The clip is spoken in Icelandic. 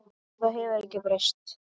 Og það hefur ekkert breyst.